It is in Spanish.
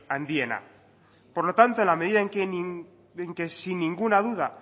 handiena por lo tanto en la medida en que sin ninguna duda